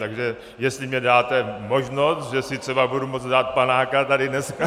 Takže jestli mi dáte možnost, že si třeba budu moct dát panáka tady dneska...